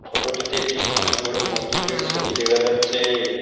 Photo -টিতে একটি অনেক বড় মসজিদের ছবি দেখা যাচ্ছে।